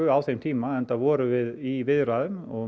á þeim tíma enda vorum við í viðræðum og